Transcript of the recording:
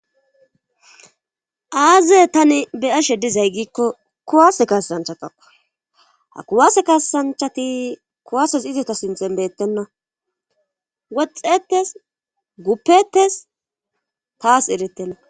aaze tani be ashe dizay giikko kuwase kasanchataka ha kuwase kasanchati kuwases iziota sinthen beettenna woxxettes guppettes taas eretenna